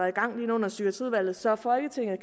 i gang inde under psykiatriudvalget så folketinget